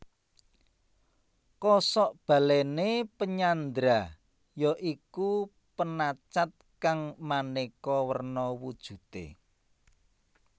Kosok balèné penyandra ya iku penacat kang manéka werna wujudé